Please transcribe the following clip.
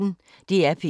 DR P1